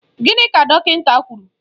Gịnị ka dọkịnta kwụrụ?